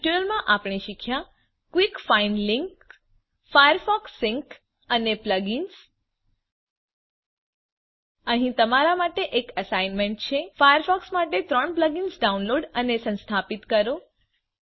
આ ટ્યુટોરીયલમાં આપણે શીખ્યા quick find link Firefox sync અને plug ઇન્સ અહીં તમારા માટે એક એસાઈનમેન્ટ છે ફાયરફોકસ માટે 3 પ્લગઇન્સ ડાઉનલોડ અને સંસ્થાપિત કરો